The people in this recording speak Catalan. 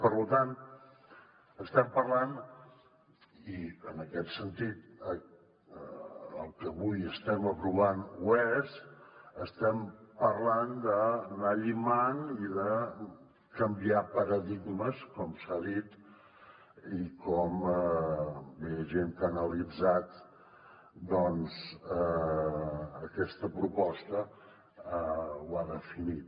per tant estem parlant i en aquest sentit el que avui estem aprovant ho és d’anar llimant i de canviar paradigmes com s’ha dit i com bé hi ha gent que ho ha analitzat doncs aquesta proposta ho ha definit